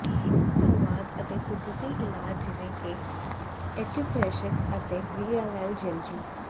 ਚੀਨੀ ਤਾਓਵਾਦ ਅਤੇ ਕੁਦਰਤੀ ਇਲਾਜ ਜਿਵੇਂ ਕਿ ਇਕੁਪਰੇਸ਼ਰ ਅਤੇ ਰੀਐਲਐਲਿਜਲਜੀ